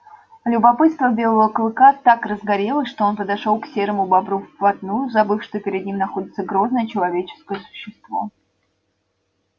любопытство белого клыка так разгорелось что он подошёл к серому бобру вплотную забыв что перед ним находится грозное человеческое существо